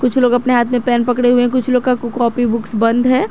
कुछ लोग अपने हाथ में पेन पकड़े हुए है कुछ लोग का कॉपी बुक्स बंद है।